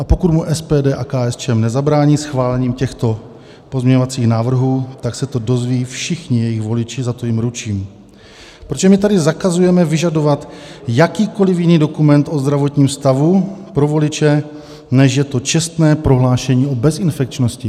A pokud mu SPD a KSČM nezabrání schválením těchto pozměňovacích návrhů, tak se to dozví všichni jejich voliči, za to jim ručím, protože my tady zakazujeme vyžadovat jakýkoliv jiný dokument o zdravotním stavu pro voliče než je to čestné prohlášení o bezinfekčnosti.